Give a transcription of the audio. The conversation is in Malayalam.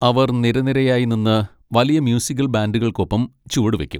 അവർ നിരനിരയായി നിന്ന് വലിയ മ്യൂസിക്കൽ ബാൻഡുകൾക്കൊപ്പം ചുവടുവയ്ക്കും.